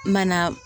Mana